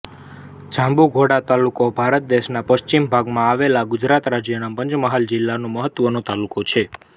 જાંબુઘોડા તાલુકો ભારત દેશના પશ્ચિમ ભાગમાં આવેલા ગુજરાત રાજ્યના પંચમહાલ જિલ્લાનો મહત્વનો તાલુકો છે